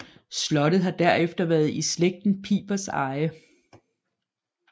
Slottet har derefter været i slægten Pipers eje